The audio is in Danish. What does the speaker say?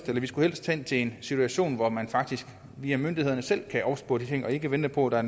vi skulle helst hen til en situation hvor man faktisk via myndighederne selv kan opspore de ting og ikke vente på at